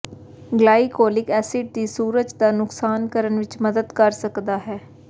glycolic acid ਵੀ ਸੂਰਜ ਦਾ ਨੁਕਸਾਨ ਕਰਨ ਵਿਚ ਮਦਦ ਕਰ ਸਕਦਾ ਹੈ